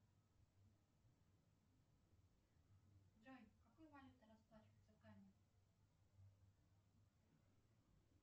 джой какой валютой расплачиваются в гане